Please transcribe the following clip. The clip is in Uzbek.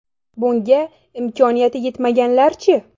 Bunga imkoniyati yetmaganlar-chi?